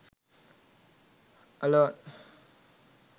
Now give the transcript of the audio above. alone